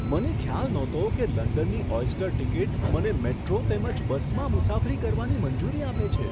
મને ખ્યાલ નહોતો કે લંડનની ઓયસ્ટર ટિકિટ મને મેટ્રો તેમજ બસમાં મુસાફરી કરવાની મંજૂરી આપે છે.